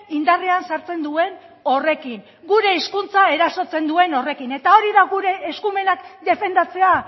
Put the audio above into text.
indarrean sartzen duen horrekin gure hizkuntza erasotzen duen horrekin eta hori da gure eskumenak defendatzea